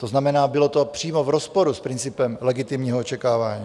To znamená, bylo to přímo v rozporu s principem legitimního očekávání.